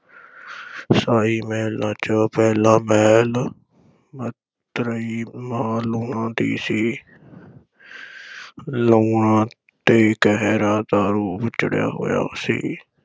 ਸ਼ਾਹੀ ਮਹਿਲਾਂ ’ਚ ਪਹਿਲਾ ਮਹਿਲ ਮਤਰੇਈ ਮਾਂ ਲੂਣਾਂ ਦਾ ਸੀ ਲੂਣਾਂ ’ਤੇ ਕਹਿਰਾਂ ਦਾ ਰੂਪ ਚੜ੍ਹਿਆ ਹੋਇਆ ਸੀ।